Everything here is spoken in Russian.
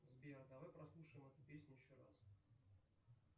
сбер давай прослушаем эту песню еще раз